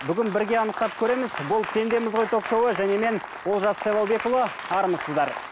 бүгін бірге анықтап көреміз бұл пендеміз ғой ток шоуы және мен олжас сайлаубекұлы армысыздар